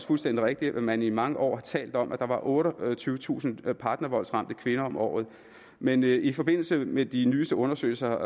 fuldstændig rigtigt at man i mange år har talt om at der var otteogtyvetusind partnervoldsramte kvinder om året men i forbindelse med de nyeste undersøgelser